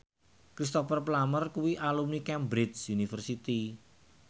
Cristhoper Plumer kuwi alumni Cambridge University